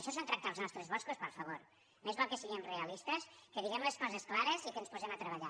això és tractar els nostres boscos per favor més val que siguem realistes que diguem les coses clares i que ens posem a treballar